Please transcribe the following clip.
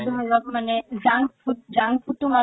মানে junk food, junk food তো মানুহক